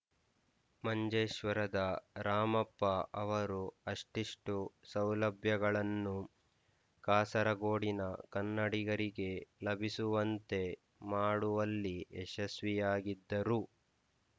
ಮಂಜೇಶ್ವರದ ರಾಮಪ್ಪ ಅವರು ಅಷ್ಟಿಷ್ಟು ಸೌಲಭ್ಯಗಳನ್ನು ಕಾಸರಗೋಡಿನ ಕನ್ನಡಿಗರಿಗೆ ಲಭಿಸುವಂತೆ ಮಾಡುವಲ್ಲಿ ಯಶಸ್ವಿಯಾಗಿದ್ದರು